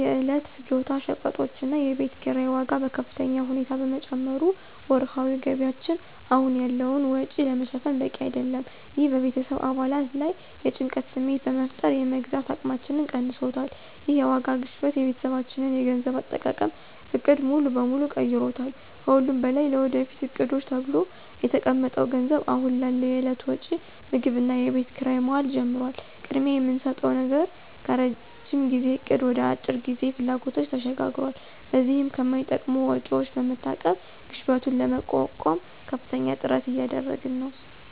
የዕለት ፍጆታ ሸቀጦችና የቤት ኪራይ ዋጋ በከፍተኛ ሁኔታ በመጨመሩ ወርሃዊ ገቢያችን አሁን ያለውን ወጪ ለመሸፈን በቂ አይደለም። ይህ በቤተሰብ አባላት ላይ የጭንቀት ስሜት በመፍጠር የመግዛት አቅማችንን ቀንሶታል። ይህ የዋጋ ግሽበት የቤተሰባችንን የገንዘብ አጠቃቀም ዕቅድ ሙሉ በሙሉ ቀይሮታል። ከሁሉም በላይ ለወደፊት ዕቅዶች ተብሎ የተቀመጠው ገንዘብ አሁን ላለው የዕለት ወጪ (ምግብና የቤት ኪራይ) መዋል ጀምሯል። ቅድሚያ የምንሰጠው ነገር ከረዥም ጊዜ እቅድ ወደ የአጭር ጊዜ ፍላጎቶች ተሸጋግሯል። በዚህም ከማይጠቅሙ ወጪዎች በመታቀብ ግሽበቱን ለመቋቋም ከፍተኛ ጥረት እያደረግን ነው።